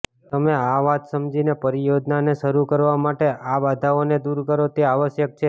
તમે આ વાત સમજીને પરિયોજનાને શરુ કરવા માટે આ બાધાઓને દૂર કરો તે આવશ્યક છે